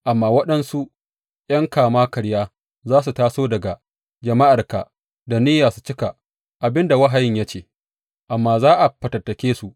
Amma waɗansu ’yan kama karya za su taso daga jama’arka da niyya su cika abin da wahayin ya ce, amma za a fatattake su.